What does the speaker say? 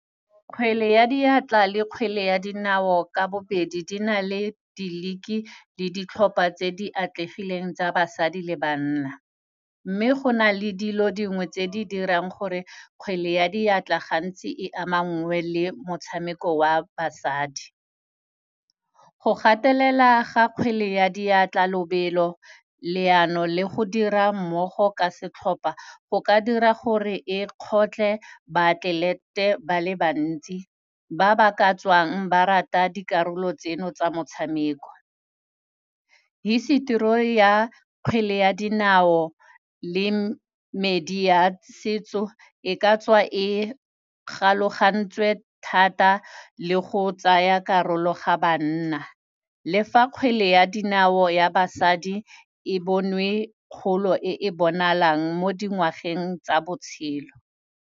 Kgwele ya diatla le kgwele ya dinao ka bobedi di na le di-league-i le ditlhopha tse di atlegileng tsa basadi le banna. Mme go na le dilo dingwe tse di dirang gore kgwele ya diatla gantsi e amangwe le motshameko wa basadi. Go gatelela ga kgwele ya diatla, lobelo, leano le go dira mmogo ka setlhopa go ka dira gore e kgotlhe ba-athlete-e ba le bantsi, ba ba ka tswang ba rata dikarolo tseno tsa motshameko. Hisetori ya kgwele ya dinao le medi ya setso, e ka tswa e kgalogantswe thata le go tsaya karolo ga banna le fa kgwele ya dinao ya basadi e bonwe kgolo e e bonalang mo dingwageng tsa botshelo.